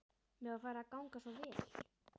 Mér var farið að ganga svo vel.